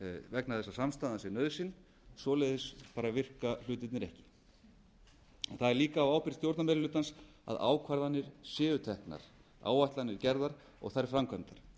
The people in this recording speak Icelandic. vegna þess að samstaðan sé nauðsyn svoleiðis bara virka hlutirnir ekki það er líka á ábyrgð stjórnarmeirihlutans að ákvarðanir séu teknar áætlanir gerðar og þær framkvæmdar